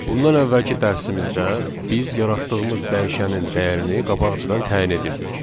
Bundan əvvəlki dərsimizdə biz yaratdığımız dəyişənin dəyərini qabaqcadan təyin edirdik.